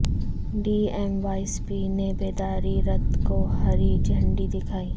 D M وایس P نے بیداری رتھ کو ہری جھنڈی دکھائی